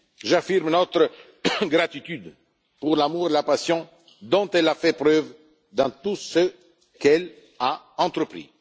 humanité. J'affirme notre gratitude pour l'amour et la passion dont elle a fait preuve dans tout ce qu'elle a